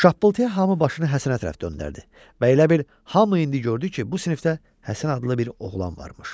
Şappıltıya hamı başını Həsənə tərəf döndərdi və elə bil hamı indi gördü ki, bu sinifdə Həsən adlı bir oğlan varmış.